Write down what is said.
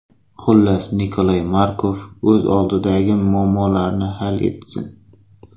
Xullas, Nikolay Markov o‘z oldidagi muammolarni hal etsin.